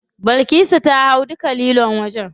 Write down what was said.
Bilkisu ta hau duka lilon wajen.